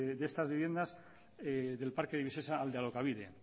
de estas viviendas del parque de viviendas al de alokabide